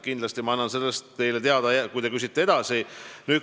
Kindlasti annan sellest teile teada, kui te edasi küsite.